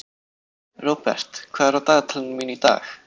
Robert, hvað er á dagatalinu mínu í dag?